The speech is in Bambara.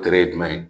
ye jumɛn ye